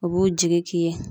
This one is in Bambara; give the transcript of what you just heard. U b'u jigi k'i ye.